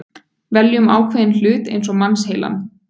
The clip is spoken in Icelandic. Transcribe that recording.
Veljum ákveðinn hlut eins og mannsheilann.